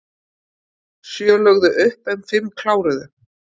Sjö lögðu upp en fimm kláruðu